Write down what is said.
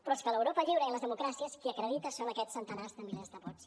però és que a l’europa lliure i a les democràcies qui acredita són aquests centenars de milers de vots